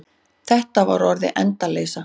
Þetta var orðin endaleysa.